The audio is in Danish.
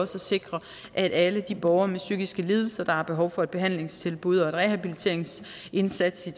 sikre at alle de borgere med psykiske lidelser der har behov for et behandlingstilbud og en rehabiliteringsindsats i